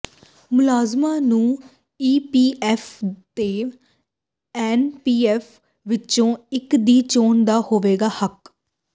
ਮੁਲਾਜ਼ਮਾਂ ਨੂੰ ਈਪੀਐਫ ਤੇ ਐਨਪੀਐਸ ਵਿੱਚੋਂ ਇਕ ਦੀ ਚੋਣ ਦਾ ਹੋਵੇਗਾ ਹੱਕ